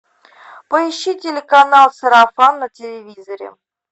поищи телеканал сарафан на телевизоре